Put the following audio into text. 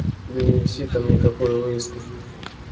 да не висит там никакой вывески